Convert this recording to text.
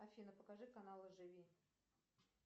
афина покажи канал живи